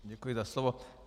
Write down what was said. Děkuji za slovo.